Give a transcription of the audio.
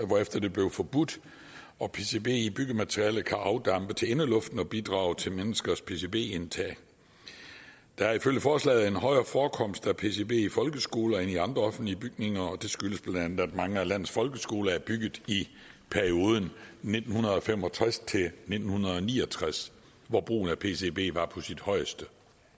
hvorefter det blev forbudt og pcb i byggematerialer kan afdampe til indeluften og bidrage til menneskers pcb indtag der er ifølge forslaget en højere forekomster af pcb i folkeskoler end i andre offentlige bygninger og det skyldes bla at mange af landets folkeskoler er bygget i perioden nitten fem og tres til ni og tres hvor brugen af pcb var på sit højeste